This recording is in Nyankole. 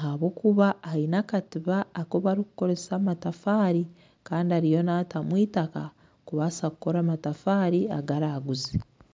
ahakuba aine akatuba aku barikukoresa amatafaari Kandi ariyo naatamu itaka kubaasa kukora amatafaari agu araguze